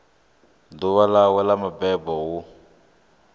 ḓuvha ḽawe ḽa mabebo hu